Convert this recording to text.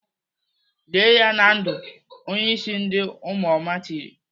"Lie ya na ndụ!" Onye ịsị ndị ụmụoma tiri.